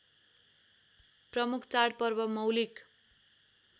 प्रमुख चाडपर्व मौलिक